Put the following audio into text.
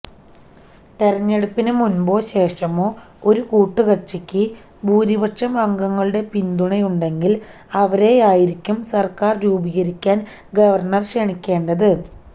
തെരഞ്ഞെടുപ്പിന് മുമ്പോ ശേഷമോ ഒരു കൂട്ടുകക്ഷിക്ക് ഭൂരിപക്ഷം അംഗങ്ങളുടെ പിന്തുണയുണ്ടെങ്കിൽ അവരെയായിരിക്കണം സർക്കാർ രൂപികരിക്കാൻ ഗവർണർ ക്ഷണിക്കേണ്ടത്